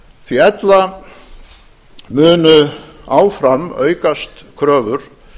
því að ella munu áfram aukast kröfur